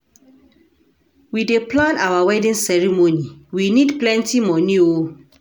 We dey plan our wedding ceremony, we need plenty moni o.